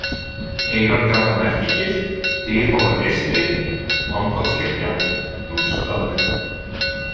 Eyrargata Merkigil, Dyrhólar-Eystri, Langholtskirkja, Núpsstaður